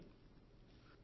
sound bite